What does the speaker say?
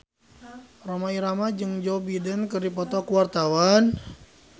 Rhoma Irama jeung Joe Biden keur dipoto ku wartawan